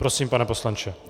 Prosím, pane poslanče.